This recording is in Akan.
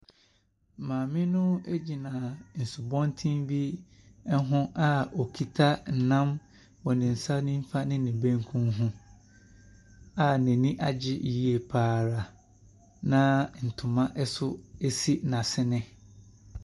Maame no gyina asubɔnten bi ho a okita nam wɔ ne nifa ne ne benkum ho a n'ani agye yie pa ara a ntoma nso si n'asene.